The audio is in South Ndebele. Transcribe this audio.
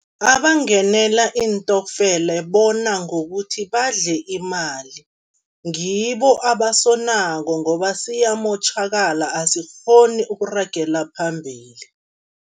Abangenela iintokfele bona ngokuthi badle imali. Ngibo abasonako ngoba siyamotjhakala, asikghoni ukuragela phambili.